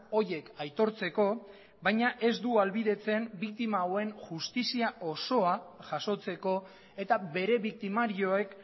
horiek aitortzeko baina ez du ahalbidetzen biktima hauen justizia osoa jasotzeko eta bere biktimarioek